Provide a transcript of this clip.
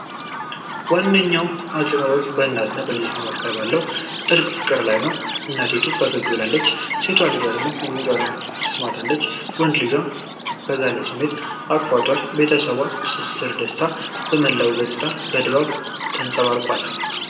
ዋነኛው አጽንዖት በእናትና በልጆቿ መካከል ባለው ጥልቅ ፍቅር ላይ ነው። እናቲቱ ፈገግ ብላለች፤ ሴት ልጇ ጉንጯን ስማታለች። ወንድ ልጇም በጋለ ስሜት አቅፏታል። የቤተሰባዊ ትስስርና ደስታ ከመላው ገጽታ በደንብ ተንጸባርቋል።